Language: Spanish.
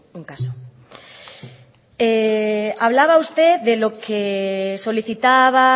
un caso hablaba usted de lo que solicitaba